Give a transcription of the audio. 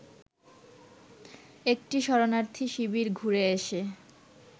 একটি শরণার্থী শিবির ঘুরে এসে